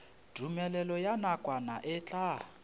tumelelo ya nakwana e tla